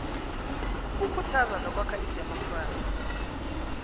ukukhuthaza nokwakha idemokhrasi